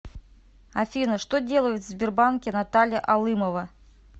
афина что делает в сбербанке наталья алымова